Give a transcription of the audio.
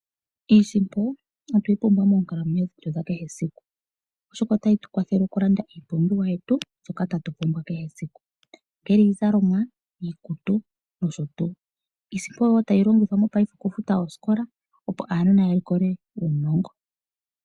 Iisimpo otweyi pumbwa moonkalamwenyo dhetu dha kehe siku oshoka , otayi tu kwathele okulanda iipumbiwa yetu shoka tatu pumbwa kehe esiku ongele iizalomwa , iikutu nosho tuu . Iisimpo wo tayi longithwa mo paife oku futa oosikola opo aanona ya likole uunongo .